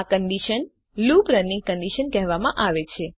આ condition looping running condition કહેવામાં આવે છે